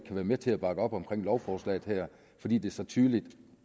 være med til at bakke op om lovforslaget her fordi det så tydeligt